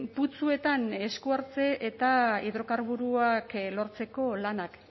putzuetan eskuhartze eta hidrokarburoak lortzeko lanak